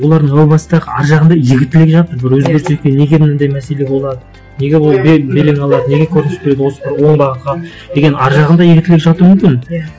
олардың о бастық ар жағында игі тілек жатыр бір өзгеріс неге ондай мәселе болады неге ол белең алады неге көрініс береді осы бір оңбаған халық деген ар жағында игі тілек жату мүмкін иә